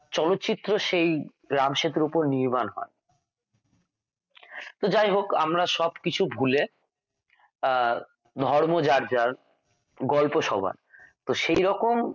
চলচিত্র সেই রাম সেতুর উপর নির্মাণ হয় তো যাই হোক আমরা সব কিছু ভুলে আর ধর্ম যার যার গল্প সবার তো সেই রকম